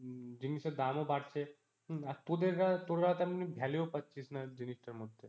হম জিনিসের দামও বাড়ছে, আর তোদের তোরা তেমনি value ও পাচ্ছিস না জিনিসটার মধ্যে।